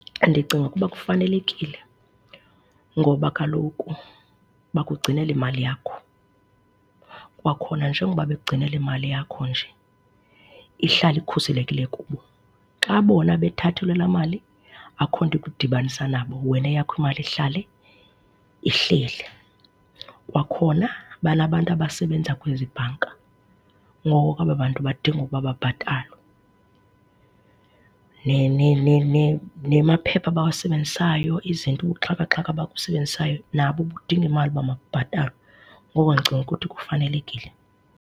Ndicinga ukuba kufanelekile ngoba kaloku bakugcinela imali yakho. Kwakhona njengoba bekugcinela imali yakho nje ihlala ikhuselekile kubo. Xa bona bethathelwe la mali akukho nto ikudibanisa nabo, wena eyakho imali ihlala ihleli. Kwakhona banabantu abasebenza kwezi bhanka, ngoku aba bantu badinga uba babhatalwe. Nemaphepha abawasebenzisayo, izinto, ubuxhaka-xhaka ababusebenzisayo nabo budinga imali uba mabubhatalwe. Ngoko ke ndicinga ukuthi kufanelekile.